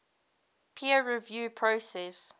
peer review process